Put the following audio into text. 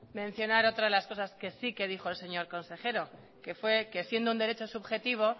mencionar otra de las cosas que sí que dijo el señor consejero que fue que siendo un derecho subjetivo